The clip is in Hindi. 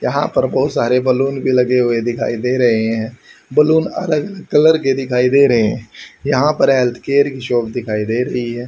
यहां पर बहुत सारे बैलून भी लगे हुए दिखाई दे रहे हैं बैलून अलग कलर के दिखाई दे रहे हैं यहां पर हेल्थ केयर की शॉप दिखाई दे रही है।